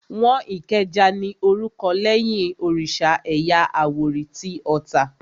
Wọ́n Ìkẹjà ní orúkọ lẹ́yìn òrìsà ẹ̀yà àwórì tí Ota